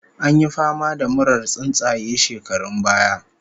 An yi fama da murar tsuntsaye shekarun baya